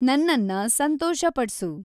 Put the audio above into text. ನನ್ನನ್ನ ಸಂತೋಷ ಪಡ್ಸು